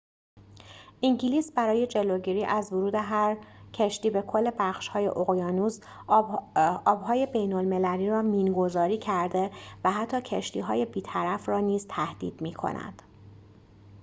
انگلیس برای جلوگیری از ورود هر کشتی به کل بخش های اقیانوس آب های بین المللی را مین گذاری کرده و حتی کشتی‌های بیطرف را نیز تهدید می کند